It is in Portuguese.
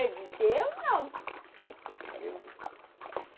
Eu disse, eu não.